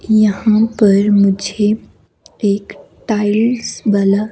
यहाँ पर मुझे एक टाइल्स वाला--